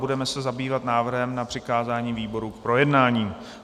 Budeme se zabývat návrhem na přikázání výborům k projednání.